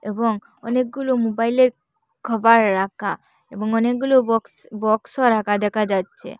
এবং অনেকগুলো মোবাইলের কভার রাখা এবং অনেকগুলো বক্স বক্সও রাখা দেখা যাচ্ছে।